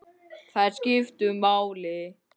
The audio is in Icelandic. Þær skiptu máli.